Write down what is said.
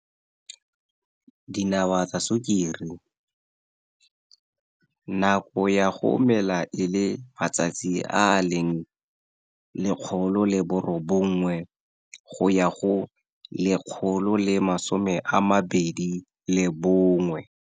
Dinawa tsa sukiri, nako ya go mela e le matsatsi a a leng 109 go ya go 121.